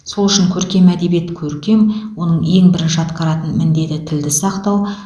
сол үшін көркем әдебиет көркем оның ең бірінші атқаратын міндеті тілді сақтау